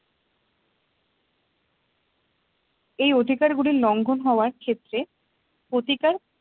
এই অধিকার গুলি লঙ্ঘন হওয়ার ক্ষেত্রে প্রতিকার